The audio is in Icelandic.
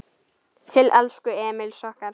Til elsku Emils okkar.